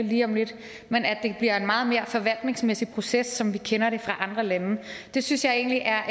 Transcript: lige om lidt men at det bliver en meget mere forvaltningsmæssig proces som vi kender det fra andre lande det synes jeg egentlig er